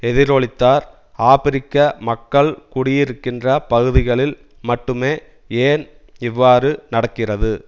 எதிரொலித்தார் ஆபிரிக்க மக்கள் குடியிருக்கின்ற பகுதிகளில் மட்டுமே ஏன் இவ்வாறு நடக்கிறது